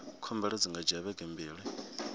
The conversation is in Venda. khumbelo dzi nga dzhia vhege mbili